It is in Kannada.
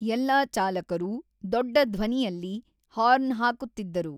ಎಲ್ಲಾ ಚಾಲಕರೂ ದೊಡ್ಡ ಧ್ವನಿಯಲ್ಲಿ ಹಾರ್ನ್‌ ಹಾಕುತ್ತಿದ್ದರು.